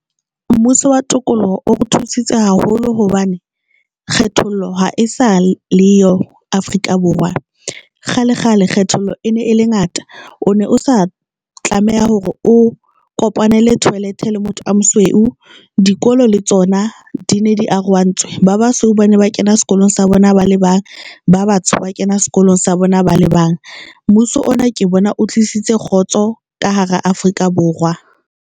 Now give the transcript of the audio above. Mmuso wa tokoloho o re thusitse haholo hobane kgethollo ha e sa le yo Afrika Borwa kgale kgale Kgethollo e ne e le ngata, o ne o sa tlameha hore o kopanele toilet-e le motho a mosweu. Dikolo le tsona di ne di arohantswe, ba basosweu ba ne ba kena sekolong sa bona ba le bang, ba batsho ba kena sekolong sa bona ba le bang. Mmuso ona ke bona o tlisitse kgotso ka hara Afrika Borwa.